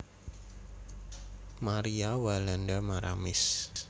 Maria Walanda Maramis